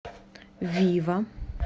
вива